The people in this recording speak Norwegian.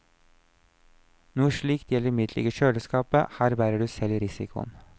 Noe slikt gjelder imidlertid ikke kjøleskapet, her bærer du selv risikoen.